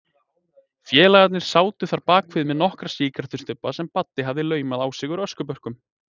Félagarnir sátu þarna bakvið með nokkra sígarettustubba sem Baddi hafði laumað á sig úr öskubökkum.